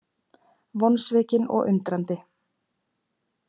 Vonsvikinn og undrandi